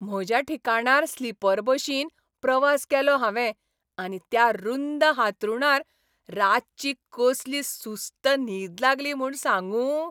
म्हज्या ठिकाणार स्लीपर बशीन प्रवास केलो हांवें आनी त्या रुंद हांतरूणार रातची कसली सुस्त न्हीद लागली म्हूण सांगूं!